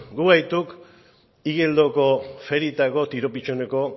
gu gaituk igeldoko ferietako tiro pitxoneko